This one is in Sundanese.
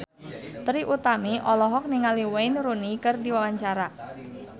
Trie Utami olohok ningali Wayne Rooney keur diwawancara